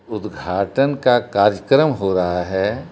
उद्घाटन का कार्यक्रम हो रहा है।